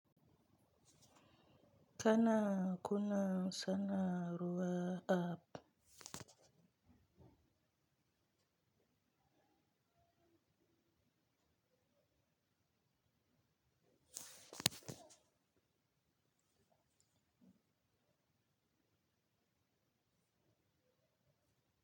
Kana kunna sanawar app?